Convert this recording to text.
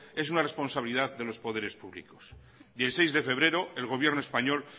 es una responsabilidad de los poderes públicos y el seis de febrero el gobierno español